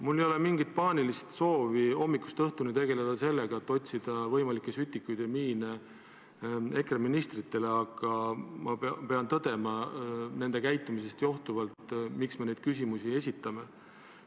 Mul ei ole mingit paanilist soovi hommikust õhtuni tegeleda sellega, et otsida võimalikke sütikuid ja miine EKRE ministritele, aga ma pean nende käitumisest johtuvalt tõdema, miks me neid küsimusi esitame.